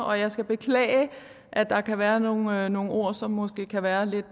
og jeg skal beklage at der kan være nogle være nogle ord som måske kan være lidt